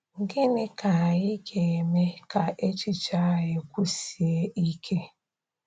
Gịnị ka anyị ga-eme ka echiche anyị kwụsie ike?